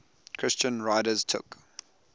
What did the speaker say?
christian writers took